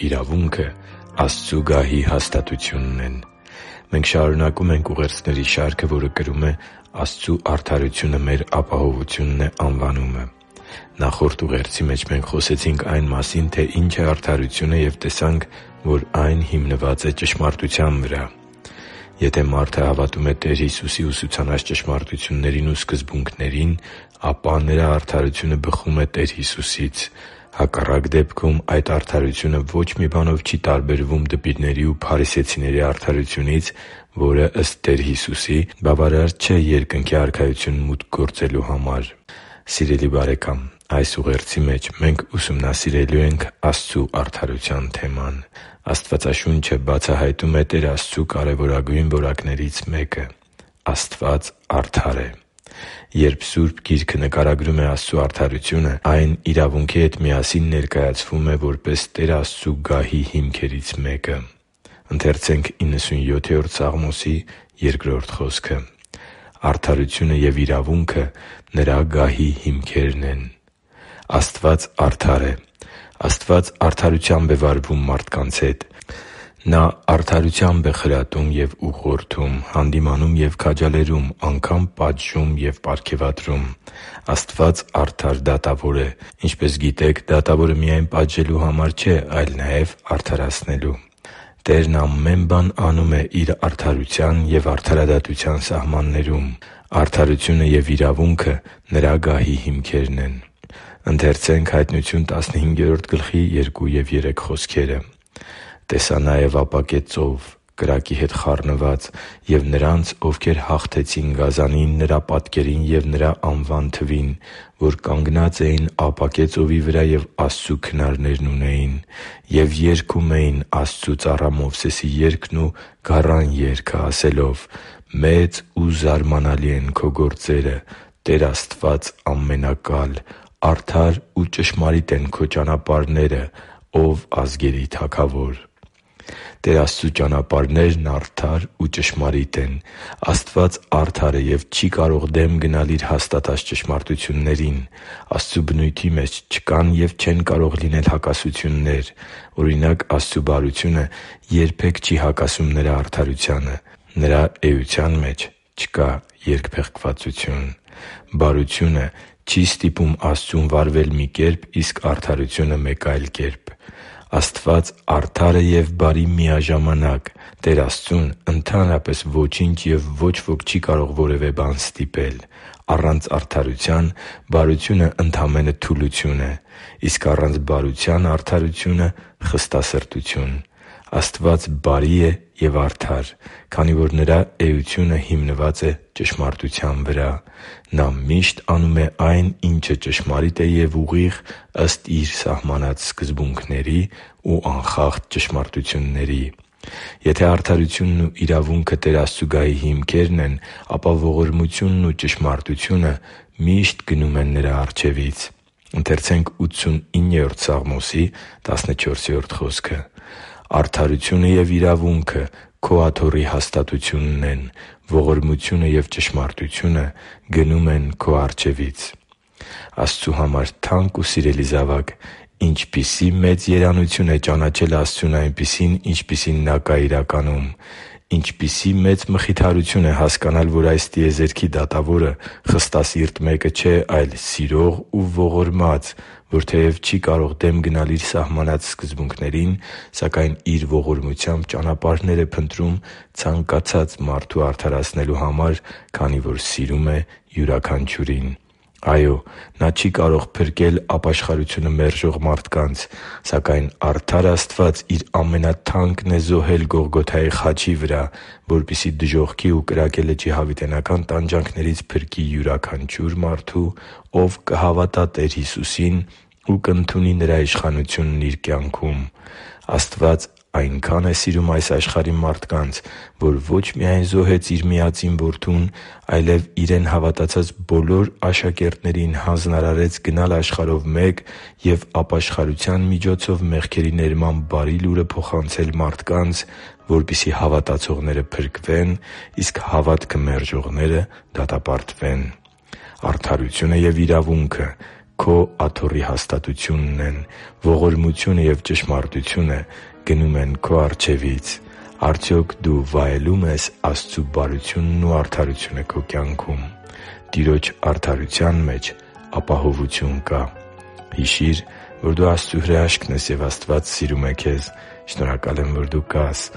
իրավունքը Աստծու գահի հաստատությունն են Մենք շարունակում ենք ուղերձների շարքը, որը կրում է «Աստծու արդարությունը մեր ապահովությունն է» անվանումը։ Նախորդ ուղերձի մեջ մենք խոսեցինք այն մասին, թե ինչ է արդարությունը և տեսանք, որ այն հիմնված է ճշմարտության վրա։ Եթե մարդը հավատում է Տեր Հիսուսի ուսուցանած ճշմարտություններին ու սկզբունքներին, ապա նրա արդարությունը բխում է Տեր Հիսուսից։ Հակառակ դեպքում այդ արդարությունը ոչ մի բանով չի տարբերվում դպիրների ու փարիսեցիների արդարությունից, որը, ըստ Տեր Հիսուսի, բավարար չէ Երկնքի Արքայություն մուտք գործելու համար։ Սիրելի՛ բարեկամ, այս ուղերձի մեջ մենք ուսումնասիրելու ենք Աստծու արդարության թեման։ Աստվածաշունչը բացահայտում է Տեր Աստծու կարևորագույն որակներից մեկը՝ Աստված արդար է։ Երբ Սուրբ Գիրքը նկարագրում է Աստծու արդարությունը, այն իրավունքի հետ միասին ներկայացվում է որպես Տեր Աստծու գահի հիմքերից մեկը։ «…արդարությունը և իրավունքը Նրա գահի հիմքերն են» (Սաղմոս 97․2): Աստված արդար է։ Աստված արդարությամբ է վարվում մարդկանց հետ։ Նա արդարությամբ է խրատում ու ուղղորդում, հանդիմանում ու քաջալերում, անգամ` պատժում ու պարգևատրում։ Աստված արդար դատավոր է։ Ինչպես գիտեք, դատավորը միայն պատժելու համար չէ, այլ նաև՝ արդարացնելու։ Տերը ամեն բան անում է Իր արդարության և արդարադատության սահմաններում։ Արդարությունը և իրավունքը Նրա գահի հիմքերն են։ «Տեսա նաև ապակե ծով՝ կրակի հետ խառնված, և նրանց, ովքեր հաղթեցին գազանին, նրա պատկերին ու նրա անվան թվին, որ կանգնած էին ապակե ծովի վրա և Աստծու քնարներն ունեին։ Եվ երգում էին Աստծու ծառա Մովսեսի երգն ու Գառան երգը՝ ասելով. «Մեծ ու զարմանալի են Քո գործերը, Տե՛ր Աստված Ամենակալ, արդար ու ճշմարիտ են Քո ճանապարհները, ո՛վ ազգերի Թագավոր» (Հայտնություն 15․2-3): Տեր Աստծու ճանապարհներն արդար ու ճշմարիտ են։ Աստված արդար է և չի կարող դեմ գնալ Իր հաստատած ճշմարտություններին։ Աստծու բնույթի մեջ չկան և չեն կարող լինել հակասություններ։ Օրինակ՝ Աստծու բարությունը երբե՛ք չի հակասում Նրա արդարությանը։ Նրա էության մեջ չկա երկփեղկվածություն։ Բարությունը չի ստիպում Աստծուն վարվել մի կերպ, իսկ արդարությունը՝ մեկ այլ։ Աստված արդար է և բարի միաժամանակ։ Տեր Աստծուն ընդհանրապես ոչինչ և ոչ ոք չի կարող որևէ բան ստիպել։ Առանց արդարության բարությունը ընդամենը թուլություն է։ Իսկ առանց բարության արդարությունը՝ խստասրտություն։ Աստված բարի է և արդար, քանի որ Նրա էությունը հիմնված է ճշմարտության վրա։ Նա միշտ անում է այն, ինչը ճշմարիտ է և ուղիղ՝ ըստ Իր իսկ սահմանած սկզբունքների ու անխախտ ճշմարտությունների։ Եթե արդարությունն ու իրավունքը Տեր Աստծու գահի հիմքերն են, ապա ողորմությունն ու ճշմարտությունը միշտ գնում են Նրա առջևից։ «Արդարությունը և իրավունքը Քո աթոռի հաստատությունն են, ողորմությունը և ճշմարտությունը գնում են քո առջևից» (Սաղմոս 89․14): Աստծու համար թանկ ու սիրելի՛ զավակ, ինչպիսի՜ մեծ երանություն է ճանաչել Աստծուն այնպիսին, ինչպիսին Նա կա իրականում։ Ինչպիսի՜ մեծ մխիթարություն է հասկանալ որ այս տիեզերքի Դատավորը խստասիրտ մեկը չէ, այլ՝ սիրող ու ողորմած, որ թեև չի կարող դեմ գնալ Իր սահմանած սկզբունքներին, սակայն Իր ողորմությամբ ճանապարհներ է փնտրում ցանկացած մարդու արդարացնելու համար, քանի որ սիրում է յուրաքանչյուրին։ Այո՛, Նա չի կարող փրկել ապաշխարությունը մերժող մարդկանց, սակայն արդար Աստված Իր ամենաթանկն է զոհել Գողգոթայի խաչի վրա, որպեսզի դժոխքի ու կրակե լճի հավիտենական տանջանքներից փրկի յուրաքանչյուր մարդու, ով կհավատա Տեր Հիսուսին ու կընդունի Նրա իշխանությունն իր կյանքում։ Աստված այնքա՜ն է սիրում այս աշխարհի մարդկանց, որ ոչ միայն զոհեց Իր Միածին Որդուն, այլև Իրեն հավատացած բոլոր աշակերտներին հանձնարարեց գնալ աշխարհով մեկ և ապաշխարության միջոցով մեղքերի ներման Բարի Լուրը փոխանցել մարդկանց, որպեսզի հավատացողները փրկվեն, իսկ հավատքը մերժողները՝ դատապարտվեն։ Արդարությունը և իրավունքը Քո աթոռի հաստատությունն են, ողորմությունը և ճշմարտությունը գնում են Քո առջևից։ Արդյոք դու վայելո՞ւմ ես Աստծու բարությունն ու արդարությունը քո կյանքում։ Տիրոջ արդարության մեջ ապահովություն կա․․․ Հիշի՛ր, որ դու Աստծո հրաշքն ես, և Աստված սիրում է քեզ։ Շնորհակալ եմ, որ դու կա՛ս